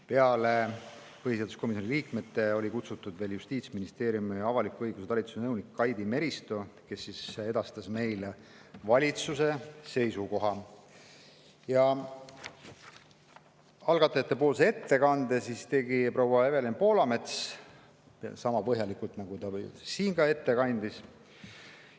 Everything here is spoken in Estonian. Peale põhiseaduskomisjoni liikmete oli kutsutud veel Justiitsministeeriumi avaliku õiguse talituse nõunik Kaidi Meristo, kes edastas meile valitsuse seisukoha, ja algatajatepoolse ettekande tegi proua Evelin Poolamets sama põhjalikult, nagu ta siin ette kandis.